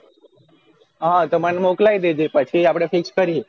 હા મને મોક્લાયી દેજો એટલે પછી આપડે fix કરીએ